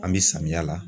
An bɛ samiya la